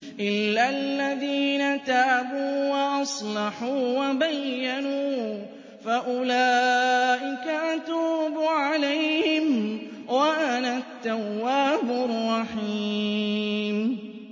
إِلَّا الَّذِينَ تَابُوا وَأَصْلَحُوا وَبَيَّنُوا فَأُولَٰئِكَ أَتُوبُ عَلَيْهِمْ ۚ وَأَنَا التَّوَّابُ الرَّحِيمُ